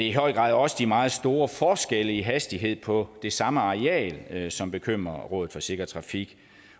i høj grad også de meget store forskelle i hastighed på det samme areal som bekymrer rådet for sikker trafik